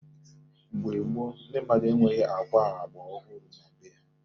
Mgbe gboo, ndi mmadụ enweghi akwa agba ọhụrụ na be ha.